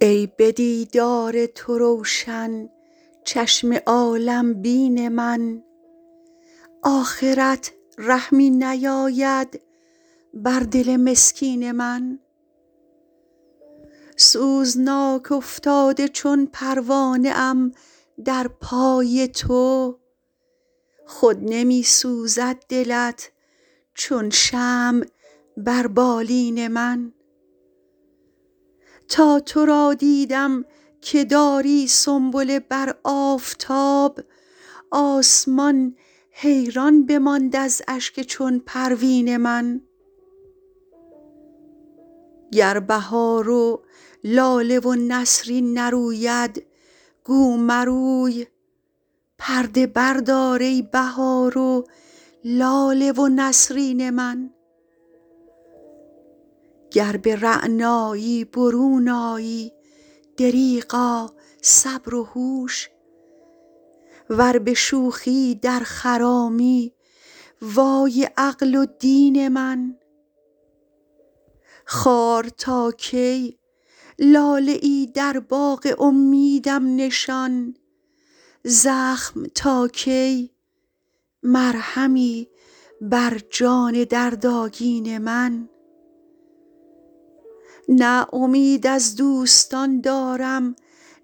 ای به دیدار تو روشن چشم عالم بین من آخرت رحمی نیاید بر دل مسکین من سوزناک افتاده چون پروانه ام در پای تو خود نمی سوزد دلت چون شمع بر بالین من تا تو را دیدم که داری سنبله بر آفتاب آسمان حیران بماند از اشک چون پروین من گر بهار و لاله و نسرین نروید گو مروی پرده بردار ای بهار و لاله و نسرین من گر به رعنایی برون آیی دریغا صبر و هوش ور به شوخی در خرامی وای عقل و دین من خار تا کی لاله ای در باغ امیدم نشان زخم تا کی مرهمی بر جان دردآگین من نه امید از دوستان دارم